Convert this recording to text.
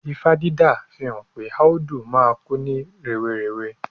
Ifá dídá fihan pe Áúdú máa kú ní rèwerèwe